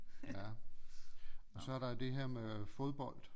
Ja og så er der det her med fodbold